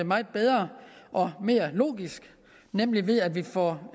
meget bedre og mere logisk nemlig ved at vi får